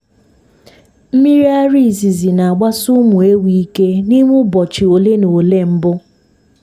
mmiri ara izizi na-agbasị ụmụ ewu ike n'ime ụbọchị ole na ole mbụ.